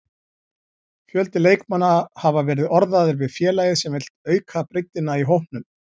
Fjöldi leikmanna hafa verið orðaðir við félagið sem vill auka breiddina í hópnum.